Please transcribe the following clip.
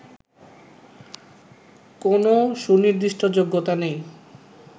কোন সুনির্দিষ্ট যোগ্যতা নেই